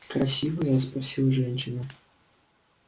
красивая спросила женщина